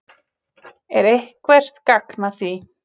Er eitthvert gagn að því?